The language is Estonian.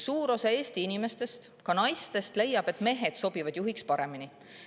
Suur osa Eesti inimestest, sealhulgas naistest, leiab, et mehed sobivad juhiks paremini.